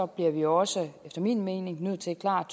bliver vi også efter min mening nødt til klart